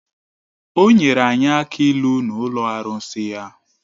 O nwere anyị akị ịlu n’ụlọ arụsị ya